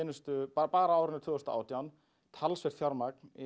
bara á árinu tvö þúsund og átján talsvert fjármagn